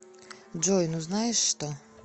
джой ну знаешь что